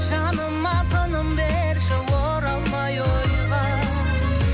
жаныма тыным берші оралмай ойға